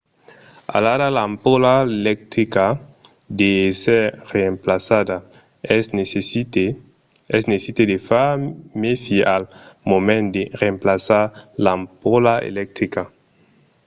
alara l'ampola electrica deu èsser remplaçada. es necite de far mèfi al moment de remplaçar l'ampola electrica